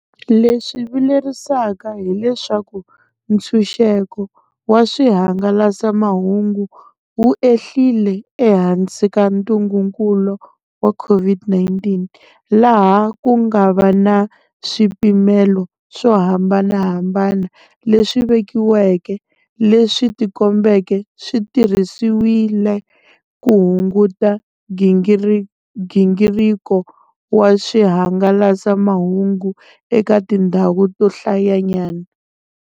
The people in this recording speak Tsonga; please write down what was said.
Leswi vilerisaka hileswaku ntshunxeko wa swihangalasamahungu wu ehlile ehansi ka ntungukulu wa COVID-19, laha ku nga va na swipimelo swo hambanahambana leswi vekiweke leswi tikombeke swi tirhisiwile ku hunguta nghingiriko wa swihangalasamahungu eka tindhawu to hlayanyana.